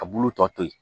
A bulu tɔ to yen